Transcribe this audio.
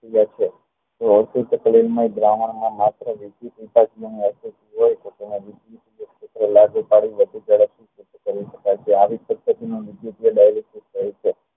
લાગુ પાડી વધુ ઝડપથી કરી શકાય છે આવી જ રીતે